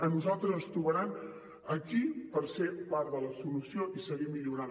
a nosaltres ens trobaran aquí per ser part de la solució i seguir millorant